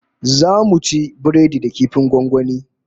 Zamu ci biredi da kifin gwangwani